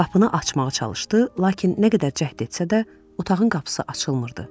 Qapını açmağa çalışdı, lakin nə qədər cəhd etsə də, otağın qapısı açılmırdı.